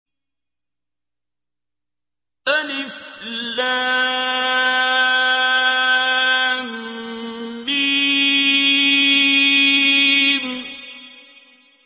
الم